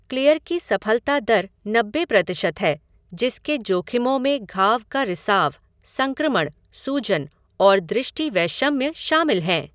Clear की सफलता दर नब्बे प्रतिशत है जिसके जोखिमों में घाव का रिसाव, संक्रमण, सूजन और दृष्टिवैषम्य शामिल हैं।